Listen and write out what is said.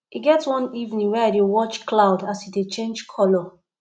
e get one evening wey i dey watch cloud as e dey change colour